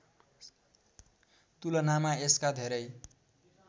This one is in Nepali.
तुलनामा यसका धेरै